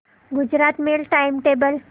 Gujarat mail time table